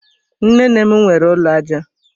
Nnenne m nwere ụlọ aja